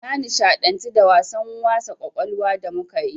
Na nishaɗantu da wasan wasa ƙwaƙwalwa da muka yi.